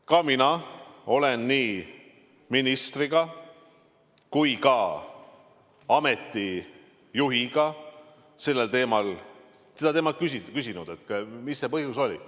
Ka mina olen nii ministriga kui ka ameti juhiga sellel teemal rääkinud, neilt küsinud, mis see põhjus oli.